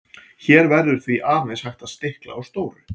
hér verður því aðeins hægt að stikla á stóru